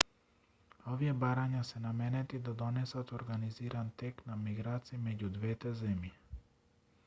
овие барања се наменети да донесат организиран тек на миграции меѓу двете земји